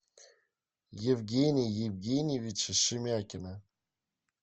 евгения евгеньевича шемякина